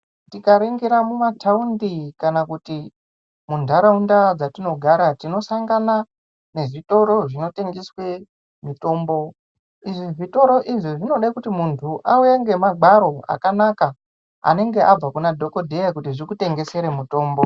Tika ningira muma taundi kana kuti mu ndaraunda dzatino gara tino sangana ne zvitoro zvino tengeswe mitombo izvi zvitoro izvi zvinode kuti mundu auye ngema gwaro aka naka anenge abva kuna dhokoteya kuti zvikutengesere mitombo.